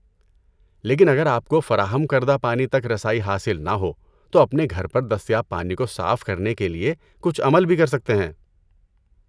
لیکن اگر آپ کو فراہم کردہ پانی تک رسائی حاصل نہ ہو تو اپنے گھر پر دستیاب پانی کو صاف کرنے کے لیے کچھ عمل بھی کر سکتے ہیں۔